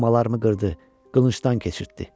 Doğmalarımı qırdı, qılıncdan keçirtdi.